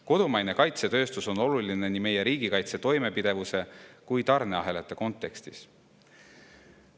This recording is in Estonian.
Kodumaine kaitsetööstus on oluline nii meie riigikaitse toimepidevuse kui ka tarneahelate kontekstis.